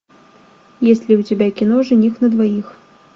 есть ли у тебя кино жених на двоих